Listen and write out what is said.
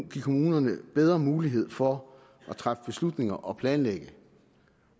kommunerne bedre mulighed for at træffe beslutninger og planlægge